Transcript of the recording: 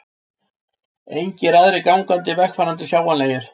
Engir aðrir gangandi vegfarendur sjáanlegir.